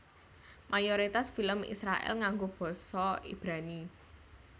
Mayoritas film Israèl nganggo basa Ibrani